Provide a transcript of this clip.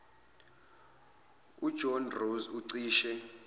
ujohn ross ucishe